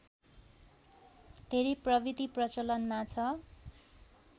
धेरै प्रविधि प्रचलनमा छ